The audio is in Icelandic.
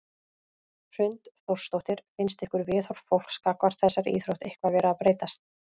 Hrund Þórsdóttir: Finnst ykkur viðhorf fólks gagnvart þessari íþrótt eitthvað vera að breytast?